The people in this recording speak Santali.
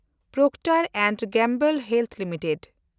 Procter and Gamble health limited